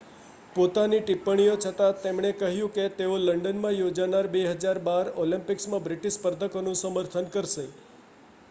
પોતાની ટિપ્પણીઓ છતાં તેમણે કહ્યું કે તેઓ લંડનમાં યોજાનાર 2012 ઑલિમ્પિક્સમાં બ્રિટિશ સ્પર્ધકોનું સમર્થન કરશે